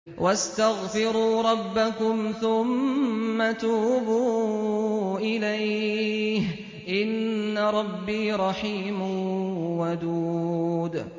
وَاسْتَغْفِرُوا رَبَّكُمْ ثُمَّ تُوبُوا إِلَيْهِ ۚ إِنَّ رَبِّي رَحِيمٌ وَدُودٌ